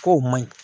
K'o ma ɲi